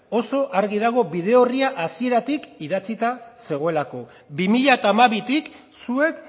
oso argi dago bide orria hasieratik idatzita zegoelako bi mila hamabitik zuek